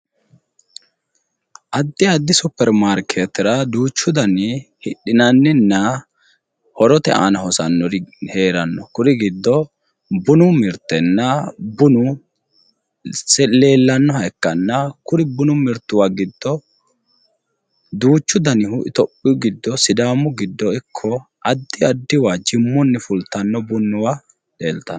Addi addi superi maarkeettera duuchu dani hidhinanninna horote aana hosannori heeranno kuri giddo bunu mirtenna bunu leellannoha ikkanna kuri bunu mirtuwa giddo duuchu danihu itiopiyu giddo sidaamu giddo ikko addi addiwa jimmunni fultanno bunnuwa leeltanno